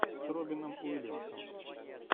с робином уильямсом